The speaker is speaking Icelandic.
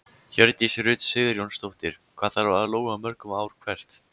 Hjördís Rut Sigurjónsdóttir: Hvað þarf að lóga mörgum ár hvert?